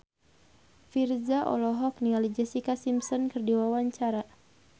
Virzha olohok ningali Jessica Simpson keur diwawancara